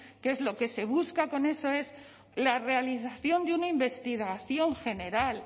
que lo que se busca con eso es la realización de una investigación general